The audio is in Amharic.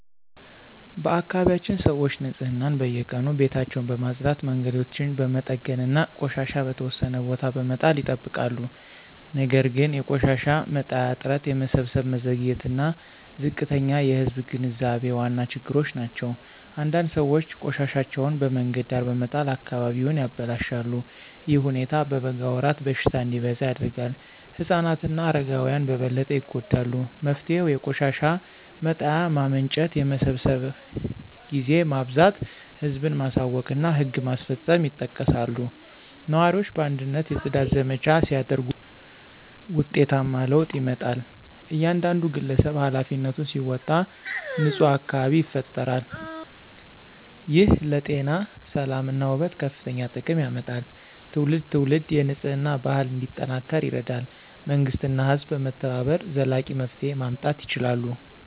በአካባቢያችን ሰዎች ንፅህናን በየቀኑ ቤታቸውን በማጽዳት መንገዶችን በመጠገን እና ቆሻሻ በተወሰነ ቦታ በመጣል ይጠብቃሉ ነገር ግን የቆሻሻ መጣያ እጥረት የመሰብሰብ መዘግየት እና ዝቅተኛ የህዝብ ግንዛቤ ዋና ችግሮች ናቸው። አንዳንድ ሰዎች ቆሻሻቸውን በመንገድ ዳር በመጣል አካባቢውን ያበላሻሉ። ይህ ሁኔታ በበጋ ወራት በሽታ እንዲበዛ ያደርጋል። ህፃናት እና አረጋውያን በበለጠ ይጎዳሉ። መፍትሄው የቆሻሻ መጣያ ማመንጨት የመሰብሰብ ጊዜ ማብዛት ህዝብን ማሳወቅ እና ህግ ማስፈጸም ይጠቀሳሉ። ነዋሪዎች በአንድነት የጽዳት ዘመቻ ሲያደርጉ ውጤታማ ለውጥ ይመጣል። እያንዳንዱ ግለሰብ ኃላፊነቱን ሲወጣ ንፁህ አካባቢ ይፈጠራል። ይህ ለጤና ሰላም እና ውበት ከፍተኛ ጥቅም ያመጣል። ትውልድ ትውልድ የንፅህና ባህል እንዲጠናከር ይረዳል መንግሥት እና ህዝብ በመተባበር ዘላቂ መፍትሄ ማምጣት ይችላሉ።